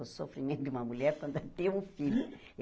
O sofrimento de uma mulher quando tem um filho.